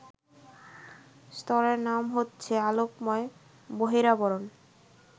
স্তরের নাম হচ্ছে আলোকময় বহিরাবরণ